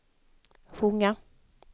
sjunga